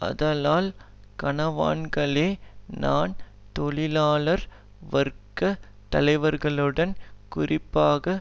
ஆதலல் கனவான்களே நான் தொழிலாளர் வர்க்க தலைவர்களுடன் குறிப்பாக